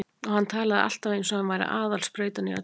Og hann talaði alltaf eins og hann væri aðal sprautan í öllu.